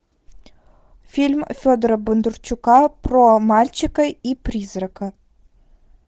фильм федора бондарчука про мальчика и призрака